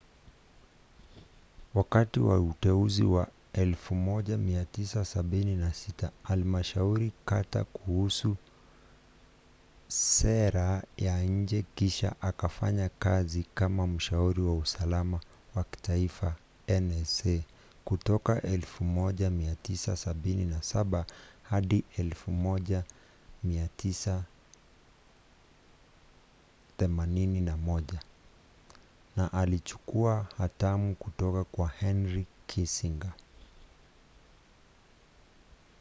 wakati wa uteuzi wa 1976 alimshauri carter kuhusu sera ya nje kisha akafanya kazi kama mshauri wa usalama wa kitaifa nsa kutoka 1977 hadi 1981 na alichukua hatamu kutoka kwa henry kissinger